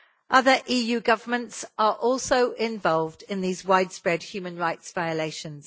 Other EU governments are also involved in these widespread human rights violations.